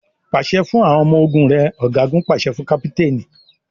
Pàṣẹ fún àwọn ọmọ ogún rẹ! Ọ̀gágun pàṣẹ fún káptéénì.